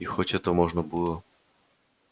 и хоть этого можно было